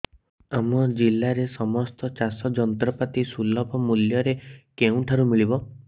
ଆମ ଜିଲ୍ଲାରେ ସମସ୍ତ ଚାଷ ଯନ୍ତ୍ରପାତି ସୁଲଭ ମୁଲ୍ଯରେ କେଉଁଠାରୁ ମିଳିବ